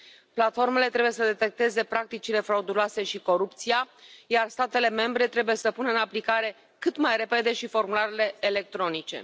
Platformele trebuie să detecteze practicile frauduloase și corupția, iar statele membre trebuie să pună în aplicare cât mai repede și formularele electronice.